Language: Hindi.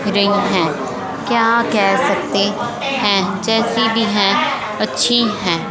रिंग हैं क्या कह सकते हैं जैसी भी हैं अच्छी है।